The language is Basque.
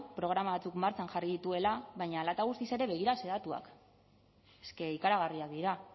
programa batzuk martxan jarri dituela baina hala eta guztiz ere begira ze datuak es ke ikaragarriak dira